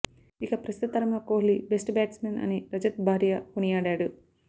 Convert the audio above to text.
ఇక ప్రస్తుత తరంలో కోహ్లీ బెస్ట్ బ్యాట్స్మన్ అని రజత్ భాటియా కొనియాడాడు